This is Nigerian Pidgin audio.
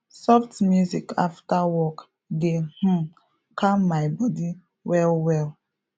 soft music after work dey um calm my body well well